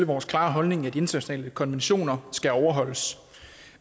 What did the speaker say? vores klare holdning at de internationale konventioner skal overholdes